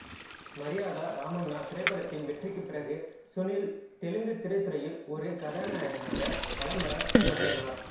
மரியாத ராமன்னா திரைப்படத்தின் வெற்றிக்குப் பிறகு சுனில் தெலுங்கு திரைத்துறையில் ஒரு கதாநாயகனாக வலம் வரத் தொடங்கினார்